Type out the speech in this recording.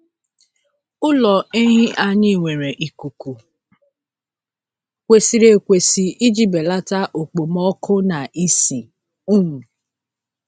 Ụlọ ehi anyị nwere ikuku kwesịrị ekwesị iji belata okpomọkụ na ísì. um